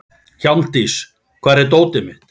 Hjálmdís, hvar er dótið mitt?